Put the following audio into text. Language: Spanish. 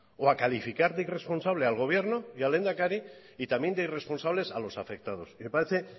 o a calificar de irresponsable al gobierno y al lehendakari y también de irresponsables a los afectados y me parece